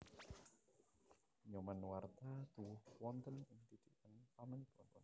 Nyoman Nuarta tuwuh wonten ing didikan pamanipun